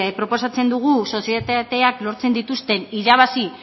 proposatzen dugu sozietateak lortzen dituzten irabazi